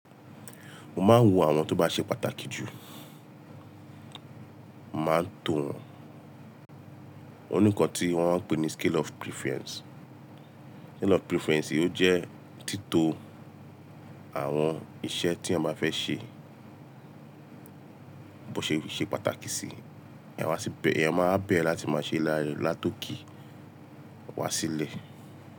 Mo máa ń wo àwọn tó bá ṣe pàtàkì jù, màá ń to wọn. Ònìkàn tí wọ́n ń pè ní scale of preference. Scale of preference yìí ó jẹ́ tito àwọn iṣẹ́ tí èèyàn ba fẹ́ ṣe, bó ṣe pàtàkì sí i. Èèyàn máa wa bẹ̀rẹ̀ láti máa ṣe látòke wá sílẹ̀